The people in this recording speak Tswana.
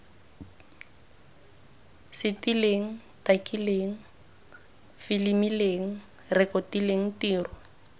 setileng takileng filimileng rekotileng tiro